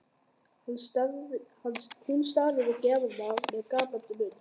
Hún starir á gjafirnar með gapandi munn.